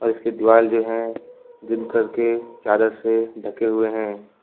इसके दीवाल जो है ग्रीन कलर के चादर से ढके हुए हैं।